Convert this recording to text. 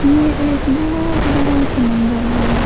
ये एक बहुत बड़ा समंदर हैं।